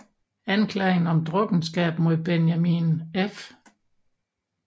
Anklagen om drukkenskab mod Benjamin F